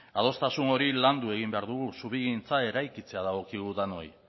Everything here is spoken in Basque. adostasun hori landu egin behar dugu zubigintza eraikitzea dagokigu denoi